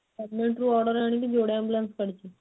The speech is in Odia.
government ରୁ order ଆଣିକି ଯୋଡେ ambulance କାଢିଛି